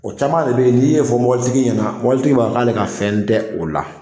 O caman de bɛ yen n'i fɔ mobilitigi ɲɛna mobilitigi b'a fɔ k'ale ka fɛn tɛ o la